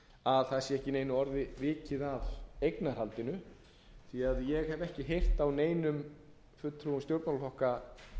að það séu ekki einu orði vikið að eignarhaldinu því að ég hef ekki heyrt á neinum fulltrúum stjórnmálaflokka